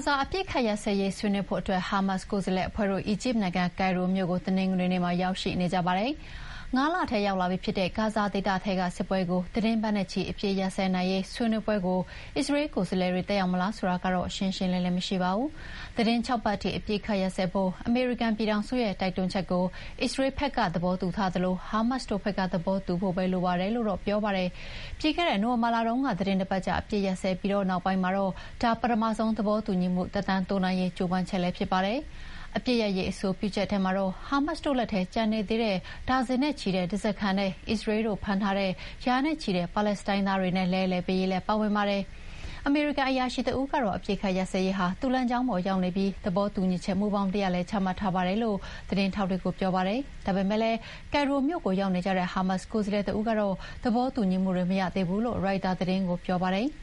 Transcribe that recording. ဇာ အပစ်အခတ်ရပ်စဲရေးဆွေးနွေးဖို့ ဟာမတ်စ်ကိုယ်စားလှယ်အဖွဲ့ အီဂျစ်နိုင်ငံ၊ ကိုင်ရိုမြို့ကို တနင်္ဂနွေနေ့မှာ ရောက်ရှိနေကြပါတယ်။ ငါးလထဲရောက်လာပြီဖြစ်တဲ့ ဂါဇာဒေသထဲကစစ်ပွဲကို သီတင်းပတ်နဲ့ချီ အပစ်အခတ်ရပ်စဲနိုင်ရေး ဆွေးနွေးပွဲကို အစ္စရေးလ်ကိုယ်စားလှယ်တွေ တက်ရောက်မလားဆိုတာတော့ ရှင်းရှင်းလင်းလင်းမရှိပါဘူး။ သီတင်း ၆ ပတ်ထိ အပစ်အခတ်ရပ်စဲဖို့ အမေရိကန်ပြည်ထောင်စုကတော့ တိုက်တွန်းချက်ကို အစ္စရေးလ်ဘက်ကလည်း သဘောတူထားသလို ဟာမတ်စ်တို့ဘက်က သဘောတူဖို့ပဲလိုပါတော့တယ်လို့ပြောပါတယ်။ ပြီးခဲ့တဲ့ နိုဝင်ဘာလတုန်းက သီတင်းတပတ်ကြာ အပစ်အခတ်ရပ်စဲပြီးနောက်ပိုင်းမှာတော့ ဒါပထမဆုံးသဘောတူညီမှုကို သက်တမ်းတိုးနိုင်ရေးကြိုးပမ်းချက်လည်းဖြစ်ပါတယ်။ အပစ်ရပ်ရေးအဆိုပြုချက်ထဲမှာတော့ ဟာမတ်စ်တို့လက်ထဲ ကျန်နေသေးတဲ့ ဒါဇင်နဲ့ချီတဲ့ဓားစားခံနဲ့ အစ္စရေးလ်တို့ဖမ်းထားတဲ့ ရာနဲ့ချီတဲ့ ပါလက်စတိုင်းသားတွေနဲ့ လဲလှယ်ပေးရေးလည်း ပါဝင်ပါတယ်။ အမေရိကန်အရာရှိတဦးကတော့ အပစ်အခတ်ရပ်စဲရေးဟာ သူ့လမ်းကြောင်းပေါ်ကိုရောက်နေပြီး သဘောတူညီချက်မူဘောင်တရပ်လည်း ချမှတ်ထားပါတယ်လို့ သတင်းထောက်တွေကို ပြောပါတယ်။ ဒါပေမယ့်လည်း ကိုင်ရိုမြို့ကိုရောက်နေတဲ့ ဟာမတ်စ်ကိုယ်စားလှယ်တဦးကတော့ သဘောတူညီမှုတွေ မရသေးဘူးလို့ ရိုက်တာသတင်းကို ပြောပါတယ်။